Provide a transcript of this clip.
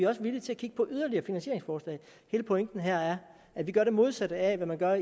også villige til at kigge på yderligere finansieringsforslag hele pointen her er at vi gør det modsatte af hvad man gør